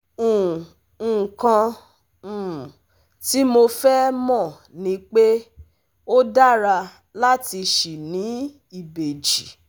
um Nǹkan um tí mo fẹ́ mọ̀ ni pé ó dára láti ṣì ní ìbejì